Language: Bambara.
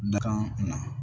Dakan na